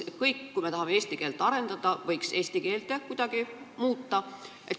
Kui me tahame eesti keelt arendada, siis tuleks need kuidagi eesti keelde tõlkida.